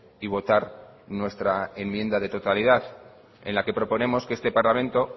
y votar nuestra enmienda de totalidad en la que proponemos que este parlamento